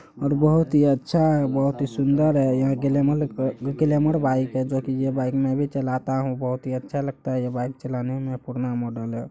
और बहुत ही अच्छा है बहुत ही सुंदर है यह ग्लैमर अ ग्लमौर बाइक है जोकि ये बाइक में भी चलता हु बहुत ही अच्छा लगता है ये बाइक चलाने में पुराना मॉडल है।